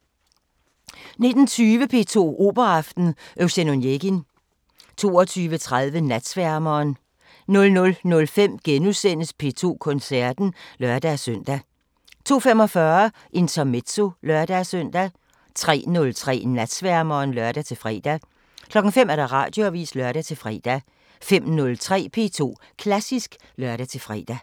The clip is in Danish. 19:20: P2 Operaaften: Eugen Onegin 22:30: Natsværmeren 00:05: P2 Koncerten *(lør-søn) 02:45: Intermezzo (lør-søn) 03:03: Natsværmeren (lør-fre) 05:00: Radioavisen (lør-fre) 05:03: P2 Klassisk (lør-fre)